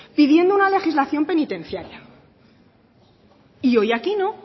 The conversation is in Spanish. pidiendo una legislación penitenciaria y hoy aquí no